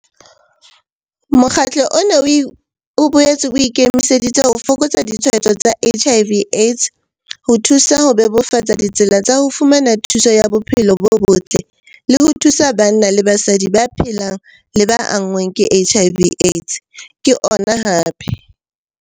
"Mokgatlo ona o boetse o ikemiseditse ho fokotsa ditshwaetso tsa HIV AIDS, ho thusa ho bebofatsa ditsela tsa ho fumana thuso ya tsa bophelo bo botle le ho thusa banna le basadi ba phelang le ba anngweng ke HIV AIDS," ke yena hape.